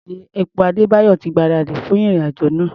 Táǹkì epo Adébáyọ̀ ti gbáradì fún ìrìn-àjò náà.